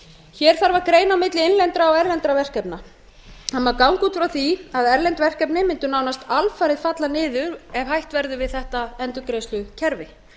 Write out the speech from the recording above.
hér þarf að greina milli innlendra og erlendra verkefna það má ganga út frá því að erlend verkefni mundu nánast alfarið falla niður ef hætt verður við þetta endurgreiðslukerfi á